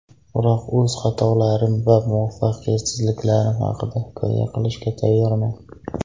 Biroq o‘z xatolarim va muvaffaqiyatsizliklarim haqida hikoya qilishga tayyorman.